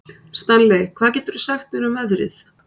Stanley, hvað geturðu sagt mér um veðrið?